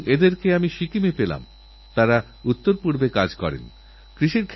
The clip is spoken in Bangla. যাঁরারাজস্থানের মাটির সঙ্গে পরিচিত তাঁরাই বুঝতে পারবেন কত কঠিন কাজ